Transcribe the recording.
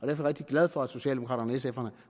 jeg rigtig glad for at socialdemokraterne